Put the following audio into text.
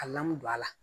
A lamu don a la